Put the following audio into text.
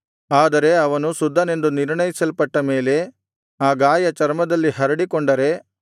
ಆದರೆ ಅವನು ಶುದ್ಧನೆಂದು ನಿರ್ಣಯಿಸಲ್ಪಟ್ಟ ಮೇಲೆ ಆ ಗಾಯ ಚರ್ಮದಲ್ಲಿ ಹರಡಿಕೊಂಡರೆ